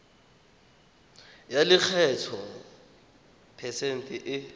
ya lekgetho phesente e